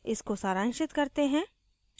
इसको सारांशित करते हैं